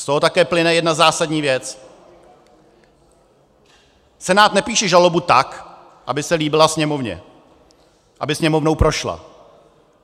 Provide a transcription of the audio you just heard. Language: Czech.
Z toho také plyne jedna zásadní věc: Senát nepíše žalobu tak, aby se líbila Sněmovně, aby Sněmovnou prošla.